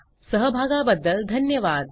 सहभागाबद्दल धन्यवाद